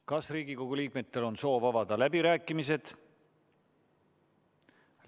Kas Riigikogu liikmetel on soov avada läbirääkimised?